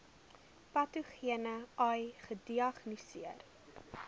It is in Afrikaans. patogene ai gediagnoseer